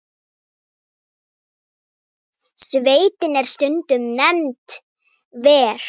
Sveitin er stundum nefnd Ver.